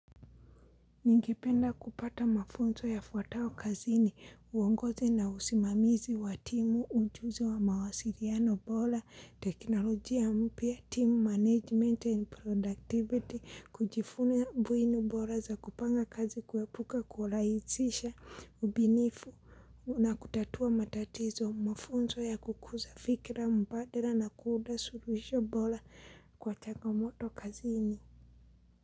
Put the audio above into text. Ningipenda kupata mafunzo yafuatayo kazini, uongozi na usimamizi wa timu, ujuzi wa mawasiliano bora, teknolojia mpya, timu management and productivity, kujifunza buinu bora za kupanga kazi kuepuka kualaisisha ubinifu na kutatua matatizo, mafunzo ya kukuza fikira mbadala na kuunda suluhisho bora kwa changamoto kazini.